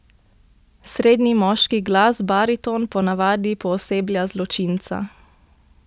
Srednji moški glas, bariton, po navadi pooseblja zločinca.